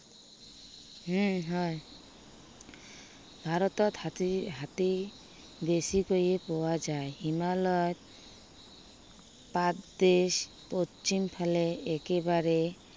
উম হয়। ভাৰতত হাতী, হাতী বেছিকৈয়ে পোৱা যায়। হিমালয়ত পাদদেশ পশ্চিম ফালে একেবাৰে